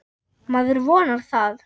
Maður vonar það.